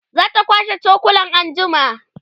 zata kwashe cokulan anjima